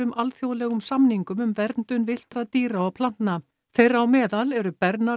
alþjóðlegum samningum um verndun villtra dýra og plantna þeirra á meðal eru